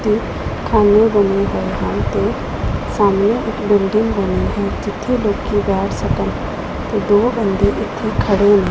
ਤੇ ਖਾਨੇ ਬਣੇ ਹੋਏ ਹਨ ਤੇ ਸਾਹਮਣੇ ਇੱਕ ਬਿਲਡਿੰਗ ਬਣੀ ਹੈ ਸਾਹਮਣੇ ਜਿੱਥੇ ਲੋਕੀ ਬੈਠ ਸਕਣ ਤੇ ਦੋ ਬੰਦੇ ਇੱਥੇ ਖੜੇ ਨੇ।